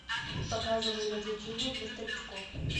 показывай развлечения для старичков